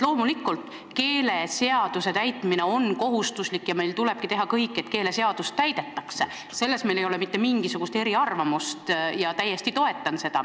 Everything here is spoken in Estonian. Loomulikult, keeleseaduse täitmine on kohustuslik ja meil tulebki teha kõik, et keeleseadust täidetaks, selles ei ole meil mitte mingisugust eriarvamust, ma täiesti toetan seda.